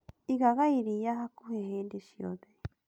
Igaga iriia hakuhĩ hindĩ ciothe